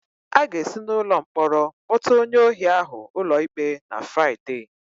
A ga-esi n'ụlọ mkpọrọ kpọta onye ohi ahụ ụlọikpe na Fraịde.